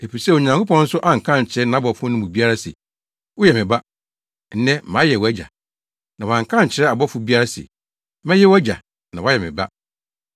Efisɛ Onyankopɔn nso anka ankyerɛ nʼabɔfo no mu biara se, “Woyɛ me Ba; nnɛ mayɛ wʼAgya.” Na wanka ankyerɛ ɔbɔfo biara se, “Mɛyɛ wʼAgya na woayɛ me Ba.”